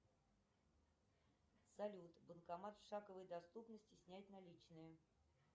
салют банкомат в шаговой доступности снять наличные